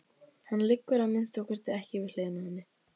Hann liggur að minnsta kosti ekki við hliðina á henni.